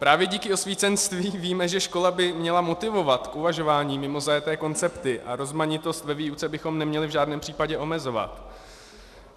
Právě díky osvícenství víme, že škola by měla motivovat k uvažování mimo zajeté koncepty, a rozmanitost ve výuce bychom neměli v žádném případě omezovat.